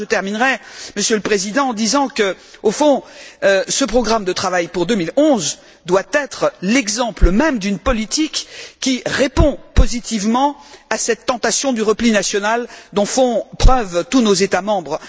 Enfin, je terminerai, Monsieur le Président, en disant que, au fond, ce programme de travail pour 2011 doit être l'exemple même d'une politique qui répond positivement à cette tentation du repli national dont font preuve tous nos États membres.